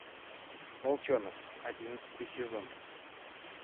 волчонок одиннадцатый сезон